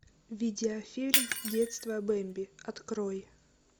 видеофильм детство бемби открой